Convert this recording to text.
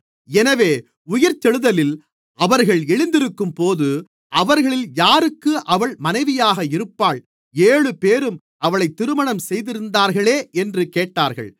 எனவே உயிர்த்தெழுதலில் அவர்கள் எழுந்திருக்கும்போது அவர்களில் யாருக்கு அவள் மனைவியாக இருப்பாள் ஏழுபேரும் அவளைத் திருமணம் செய்திருந்தார்களே என்று கேட்டார்கள்